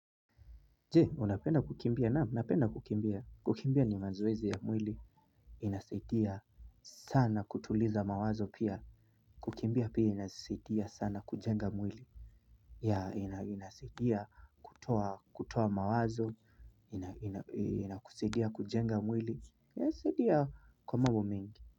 Je unapenda kukimbia? Naam napenda kukimbia kukimbia ni mazoezi ya mwili. Inasitia sana kutuliza mawazo pia kukimbia pia inasidia sana kujenga mwili ya inasidia kutoa kutoa mawazo inakusidia kujenga mwili inasidia kwa mambo mingi.